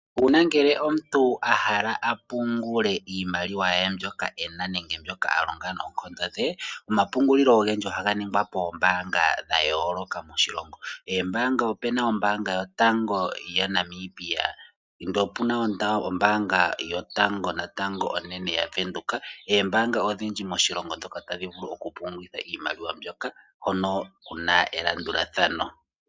Uuna omuntu ahala a pungule iimaliwa ye mbyoka ena nenge mbyoka alonga noonkondo dhe, omapungulilo ogendji ohaga ningwa poombaanga dha yooloka moshilongo. Eembaanga opena ombaanga yotango yaNamibia, opuna ombaanga yotango natango onene yaVenduka. Eembanga odhindji moshilongo dhoka tadhi vulu oku pungulitha iimaliwa mbyoka hono kuna elandulathano.